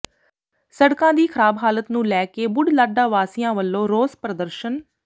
ਸੜਕਾਂ ਦੀ ਖਰਾਬ ਹਾਲਤ ਨੂੰ ਲੈ ਕੇ ਬੁਢਲਾਡਾ ਵਾਸੀਆਂ ਵੱਲੋਂ ਰੋਸ ਪ੍ਰਦਰਸ਼ਨ